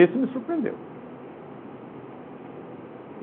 Esse me surpreendeu.